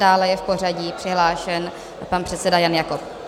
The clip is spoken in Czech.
Dále je v pořadí přihlášen pan předseda Jan Jakob.